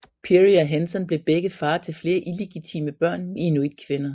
Peary og Henson blev begge far til flere illegitime børn med inuitkvinder